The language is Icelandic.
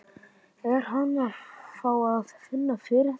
Er hann að fá að finna fyrir því?